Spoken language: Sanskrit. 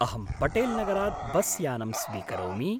अहं पटेल्नगरात् बस्यानं स्वीकरोमि।